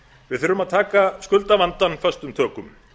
við þurfum að taka skuldavandann föstum tökum